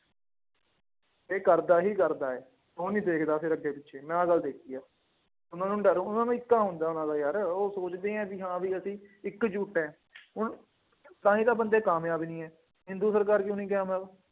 ਇਹ ਕਰਦਾ ਹੀ ਕਰਦਾ ਹੈ। ਉਹ ਨਹੀਂ ਦੇਖਦਾ ਫੇਰ ਅੱਗੇ ਪਿੱਛੇ, ਮੈਂ ਆਹ ਗੱਲ ਦੇਖੀ ਹੈ, ਉਹਨਾ ਨੂੰ ਲੈ ਲਉ, ਉਹਨਾ ਦਾ ਏਕਾਂ ਹੁੰਦਾ, ਉਹਨਾ ਦਾ ਯਾਰ, ਉਹ ਸੋਚਦੇ ਆ ਕਿ ਹਾਂ ਬਈ ਅਸੀਂ ਇੱਕ ਜੁੱਟ ਹੈਂ ਹੁਣ ਤਾਂ ਹੀ ਤਾਂ ਬੰਦੇ ਕਾਮਯਾਬ ਨਹੀਂ ਹੈ। ਹਿੰਦੂ ਸਰਕਾਰ ਕਿਉਂ ਰਹੀ ਗਿਆਰਾਂ ਸਾਲ